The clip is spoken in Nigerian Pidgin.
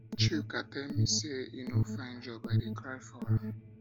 chuka tell me say he no find job i dey cry for am